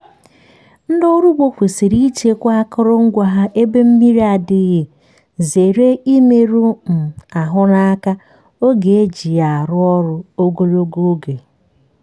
ndị ọrụ ugbo kwesịrị ichekwa akụrụngwa ha ebe mmri adịghị zere imeru um ahụ n’aka oge e ji ya arụ ọrụ ogologo oge.